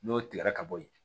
N'o tigɛra ka bɔ yen